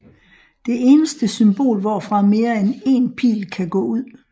Det eneste symbol hvorfra mere end én pil kan gå ud